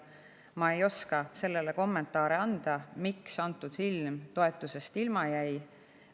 Ma ei oska anda kommentaare, miks antud film toetusest ilma jäi.